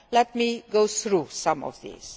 Let me go through some of these.